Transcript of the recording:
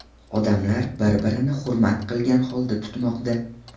Odamlar bir-birini hurmat qilgan holda tutmoqda.